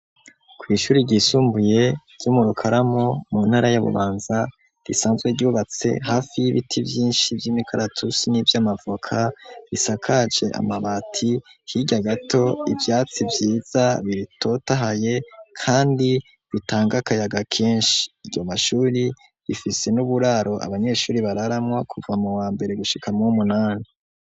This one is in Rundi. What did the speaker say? Kw'ishure ryisumbuye ryo mu rukaramu mu ntara yabubanza risanzwe ryubatse hafi y'ibiti byinshi by'imikaratusi n'ivy'amavoka bisakaje amabati higa gato ibyatsi byiza biritotahaye kandi bitanga kayaga kenshi iyo mashuri bifise n'uburaro abanyeshuri bararamwa kuva mu wa mbere gushikamo umunani.